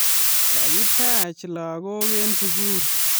Kakitach lagok eng sugul